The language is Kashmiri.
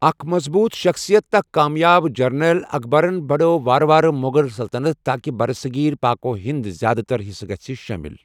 اکھ مضبوٗط شخصِیت تہٕ اکھ کامیاب جرنیل، اکبرن بڑٲو وارٕ وارٕ مغل سلطنت تاکہ برصغیر پاک و ہندُک زیادٕ تر حصہٕ گٔژھہٕ شٲمِل۔